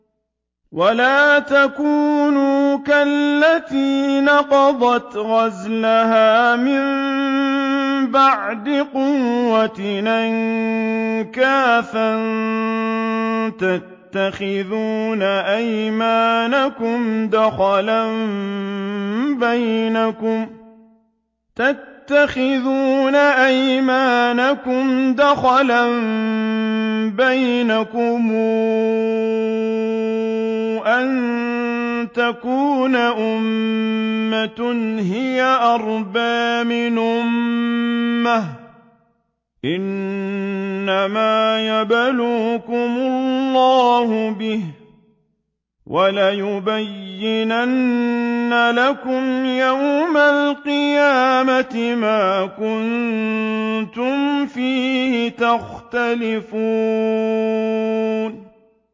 وَلَا تَكُونُوا كَالَّتِي نَقَضَتْ غَزْلَهَا مِن بَعْدِ قُوَّةٍ أَنكَاثًا تَتَّخِذُونَ أَيْمَانَكُمْ دَخَلًا بَيْنَكُمْ أَن تَكُونَ أُمَّةٌ هِيَ أَرْبَىٰ مِنْ أُمَّةٍ ۚ إِنَّمَا يَبْلُوكُمُ اللَّهُ بِهِ ۚ وَلَيُبَيِّنَنَّ لَكُمْ يَوْمَ الْقِيَامَةِ مَا كُنتُمْ فِيهِ تَخْتَلِفُونَ